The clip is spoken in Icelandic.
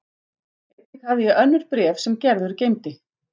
Einnig hafði ég önnur bréf sem Gerður geymdi.